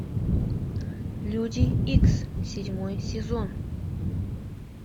люди икс седьмой сезон